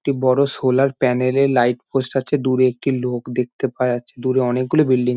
একটি বড়ো solar panel এ লাইট পোস্ট আছে ।দূরে একটি লোক দেখতে পাওয়া যাচ্ছে। দূরে অনেক গুলো বিল্ডিং --